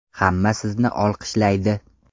Hamma sizni olqishlaydi.